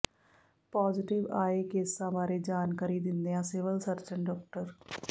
positive ਆਏ ਕੇਸਾਂ ਬਾਰੇ ਜਾਣਕਾਰੀ ਦਿੰਦਿਆਂ ਸਿਵਲ ਸਰਜ਼ਨ ਡਾ